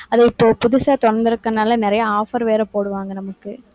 அது இப்போ புதுசா திறந்திருக்கிறதுனால, நிறைய offer வேற போடுவாங்க நமக்கு.